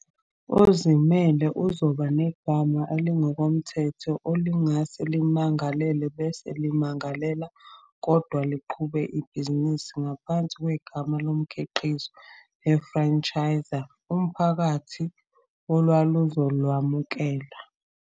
Ozimele uzoba negama elingokomthetho elingase limangalele bese limangalela, kodwa liqhube ibhizinisi ngaphansi kwegama lomkhiqizo le-franchiser, umphakathi olwaluzolwamukela.